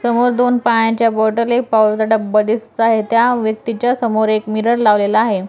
समोर दोन पाण्याच्या बॉटल येत पावडर चा डब्बा दिसत आहे त्या व्यक्तीच्या समोर एक मिरर लावलेला आहे.